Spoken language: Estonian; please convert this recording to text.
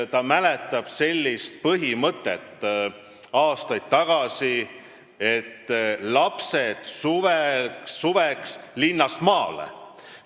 Aastaid tagasi kehtis tema mäletamist mööda põhimõte, et suveks lapsed linnast maale.